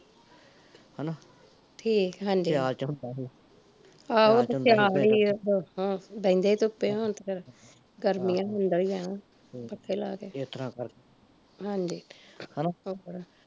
ਠੀਕ ਐ ਹਾਂਜੀ ਹਾਂਜੀ ਆਹੋ ਸਿਆਲ ਸੀ ਉਦੋਂ ਬਹਿੰਦੇ ਸੀ ਧੁੱਪੇ, ਹੁਣ ਤੇ ਫਿਰ ਗਰਮੀਆਂ ਐ ਹੁੰਦਾ ਈ ਐ, ਪੱਖੇ ਲਾਕੇ ਹਾਂਜੀ ਹੋਰ